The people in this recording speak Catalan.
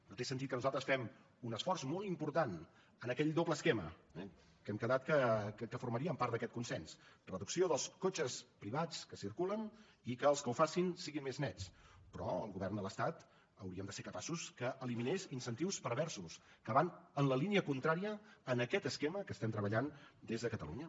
no té sentit que nosaltres fem un esforç molt important en aquell doble esquema eh que hem quedat que formaríem part d’aquest consens reducció dels cotxes privats que circulen i que els que ho facin sigui més nets però el govern de l’estat hauríem de ser capaços que eliminés incentius perversos que van en la línia contrària en aquest esquema que estem treballant des de catalunya